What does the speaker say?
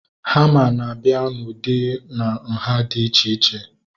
Hama na-abịa na ụdị na nhá dị iche iche